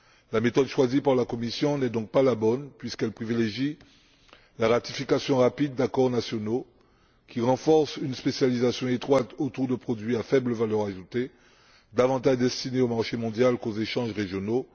La méthode choisie par la Commission n'est donc pas la bonne puisqu'elle privilégie la ratification rapide d'accords nationaux qui renforcent une spécialisation étroite autour de produits à faible valeur ajoutée, davantage destinés au marché mondial qu'aux échanges régionaux.